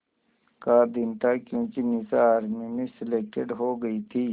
का दिन था क्योंकि निशा आर्मी में सेलेक्टेड हो गई थी